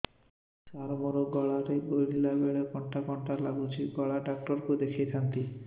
ସାର ମୋ ଗଳା ରେ ଗିଳିଲା ବେଲେ କଣ୍ଟା କଣ୍ଟା ଲାଗୁଛି ଗଳା ଡକ୍ଟର କୁ ଦେଖାଇ ଥାନ୍ତି